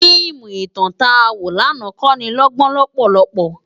Fiimú itán tá wó làná kónilógbón lòpòlòpò